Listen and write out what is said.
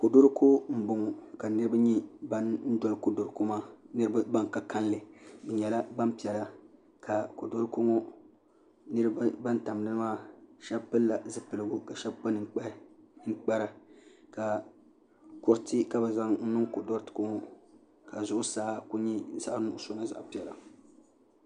kodoriko n boŋo ka niraba nyɛ ban doli kodoriko maa niraba ban ka kanli bi nyɛla gbanpiɛla ka kodoriko ŋo niraba ban tam dinni maa shab pilila zipiligu ka shab kpa ninkpara kuriti ka bi zaŋ niŋ kodoriko ŋo ka zuɣusaa ku nyɛ zaɣ nuɣso ni zaɣ piɛla